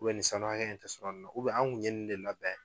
ni sanu hakɛ in ta anw kun ye ni de labɛn